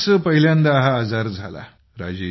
मलाच पहिल्यांदा हा आजार झाला